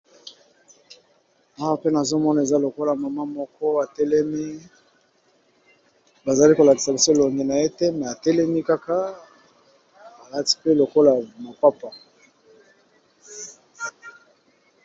Awa pe nazomona eza lokola mama moko atelemi, bazali kolakisa biso elongi na yete me atelemi kaka alati mpe lokola mapapa.